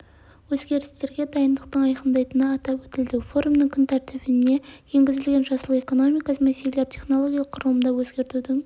өзгерістерге дайындықтың айқындайтыны атап өтілді форумның күн тәртібіне енгізілген жасыл экономика мәселелері технологиялық құрылымды өзгертудің